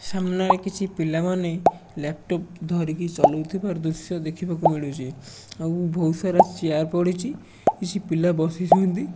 ସାମ୍ନାରେ କିଛି ପିଲାମାନେ ଲାପଟପ୍ ଧରିକି ଚଲଉଥିବାର ଦୃଶ୍ୟ ଦେଖିବାକୁ ମିଳୁଛି ଆଉ ବହୁତ ସାରା ଚେୟାର ପଡ଼ିଛି କିଛି ପିଲା ବସିଛନ୍ତି।